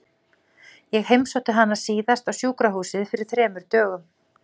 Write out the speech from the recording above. Ég heimsótti hana síðast á sjúkrahúsið fyrir þremur dögum.